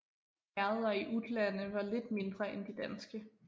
Herreder i Utlande var lidt mindre end de danske